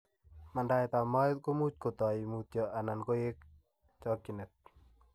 Mandaetab moet komuch kotoi mutyo na koek eng' chokchinet.